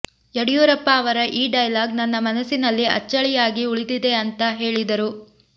ಯಡಿಯೂರಪ್ಪ ಅವರ ಈ ಡೈಲಾಗ್ ನನ್ನ ಮನಸ್ಸಿನಲ್ಲಿ ಅಚ್ಚಳಿಯಾಗಿ ಉಳಿದಿದೆ ಅಂತಾ ಹೇಳಿದರು